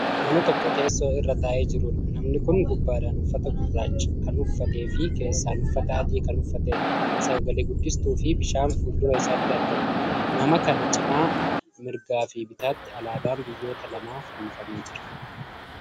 Nama tokko teessoo irra taa'ee jiruudha. namni Kuni gubbaadhaan uffata gurraacha kannuffateefi keessaan Uffata adii Kan uffateedha. sagale guddistuufi bishaan fuuldura isaatti argama. nama kana cinaa mirgaafi bitaatti alaabaan biyyoota lamaa fannifamee Jira.